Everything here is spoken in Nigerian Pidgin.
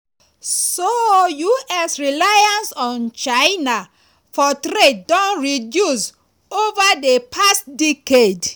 so us reliance on china for trade don reduce ova di past decade.